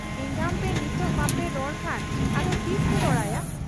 ᱮᱸᱜᱟᱢᱯᱮ ᱱᱤᱛ ᱵᱟᱯᱮ ᱨᱚᱲ ᱠᱷᱟᱱ ᱟᱫᱚ ᱛᱤᱥᱯᱮ ᱨᱚᱲᱟᱭᱟ ?